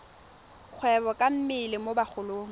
kgwebo ka mmele mo bagolong